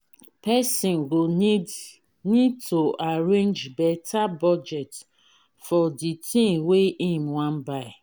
person go need need to arrange better budget for di thing wey im wan buy